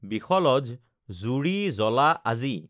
বিশলঝ জুৰি জ্বলা আজি